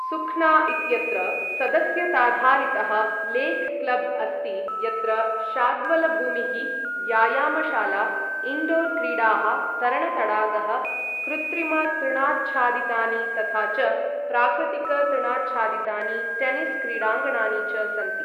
सुख्ना इत्यत्र सदस्यताधारितः lake club अस्ति यत्र शाद्वलभूमिः, व्यायामशाला, इण्डोर् क्रीडाः, तरणतडागः, कृत्रिमतृणाच्छादितानि तथा च प्राकृतिकतृणाच्छादितानि टेनिस् क्रीडाङ्गणानि च सन्ति।